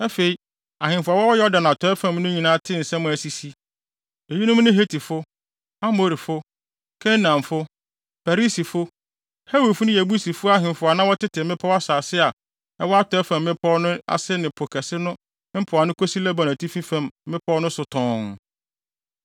Afei, ahemfo a wɔwɔ Yordan atɔe fam no nyinaa tee nsɛm a asisi. Eyinom ne Hetifo, Amorifo, Kanaanfo, Perisifo, Hewifo ne Yebusifo ahemfo a na wɔtete mmepɔw nsase a ɛwɔ atɔe fam mmepɔw no ase ne Po Kɛse no mpoano kosi Lebanon atifi fam mmepɔw no so tɔnn.